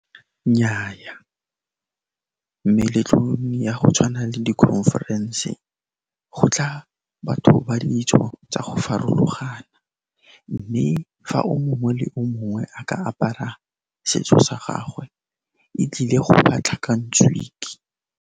Nnyaa, meletlong ya go tshwana le di-conference gotla batho ba ditso tsa go farologana mme fa o mongwe le o mongwe a ka apara setso sa gagwe e tlile go batla .